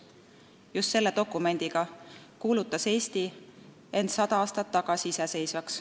Just selle dokumendiga kuulutas Eesti end sada aastat tagasi iseseisvaks.